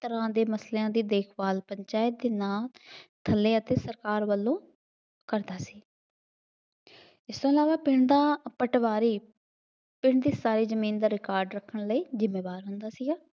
ਤਰ੍ਹਾਂ ਦੇ ਮਸਲਿਆਂ ਦੀ ਦੇਖਭਾਲ ਕਰਦਾ ਹੈ ਅਤੇ ਨਾਲ ਇਕੱਲੇ ਅਤੇ ਸਰਕਾਰ ਵੱਲੋਂ ਕਰਦਾ ਹੈ। ਇਸ ਤੋਂ ਇਲਾਵਾ ਪਿੰਡ ਦਾ ਪਟਵਾਰੀ ਪਿੰਡ ਦੀ ਸਾਰੀ ਜ਼ਮੀਨ ਦਾ ਰਿਕਾਰਡ ਰੱਖਣ ਲਈ ਜ਼ਿੰਮੇਵਾਰ ਹੁੰਦਾ ਸੀ।